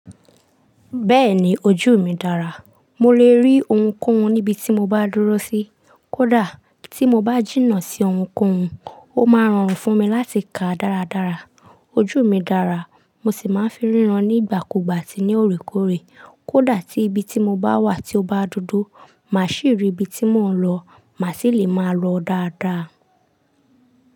Bẹ́ẹ̀ni ojú mi dára, mo lè rí ohunkóhun níbi tí mo bá dúró sí. Kódà tí mo bá jìnnà sí ohunkóhun, ó máa rọrùn fún mi láti kàá dáradára. Ojú mi dára, mo sì máa ń fi ríran nígbàkúgbà ati ní òorékòoré. Kódà tí ibi tí mo bá wà tí ó bá dúdú, mà ṣì rí ibi tí mò ń lọ, mà sì lè máa lọ dáadáa.